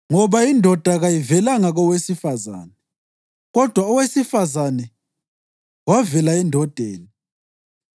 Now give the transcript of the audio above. Ngoba indoda kayivelanga kowesifazane kodwa owesifazane wavela endodeni